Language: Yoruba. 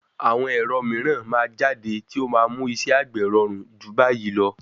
Àwọn ẹ̀rọ mìíràn máa jáde tí ó máa mú iṣẹ́ àgbè rọrùn jù báyìí lọ.